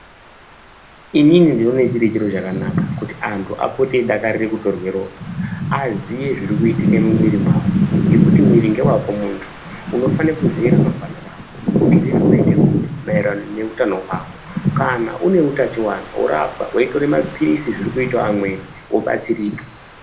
Inini ndinoone chiri chiro chakanaka kuti antu apote eidakarira kutorwe ropa aziye zviri kuitike mumwiri mwawo ngekuti mwiri ngewako muntu unofane kuziya ramangwana rako kuti uri kuri nekuri maererano neutano hwako kana une utachiwana worapwa weitora mapiritsi zviri kuitawo amweni wobatsirika.